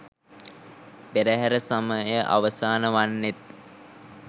පෙරහැර සමය අවසාන වන්නේත්